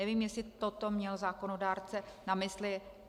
Nevím, jestli toto měl zákonodárce na mysli.